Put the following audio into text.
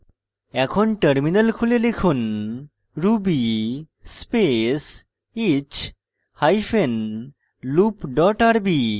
এখন terminal খুলুন এবং লিখুন ruby space each hyphen loop dot rb